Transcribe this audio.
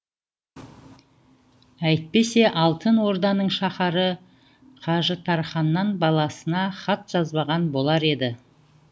әйтпесе алтын орданың шаһары қажытарханнан баласына хат жазбаған болар еді